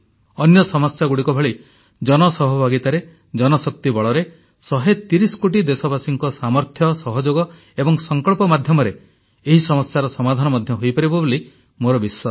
ଅନ୍ୟ ସମସ୍ୟାଗୁଡ଼ିକ ଭଳି ଜନସହଭାଗିତାରେ ଜନଶକ୍ତି ବଳରେ ଶହେ ତିରିଶ କୋଟି ଦେଶବାସୀଙ୍କ ସାମର୍ଥ୍ୟ ସହଯୋଗ ଏବଂ ସଂକଳ୍ପ ମାଧ୍ୟମରେ ଏହି ସମସ୍ୟାର ସମାଧାନ ମଧ୍ୟ ହୋଇପାରିବ ବୋଲି ମୋର ବିଶ୍ୱାସ